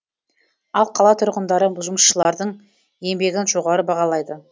ал қала тұрғындары жұмысшылардың еңбегін жоғары бағалайды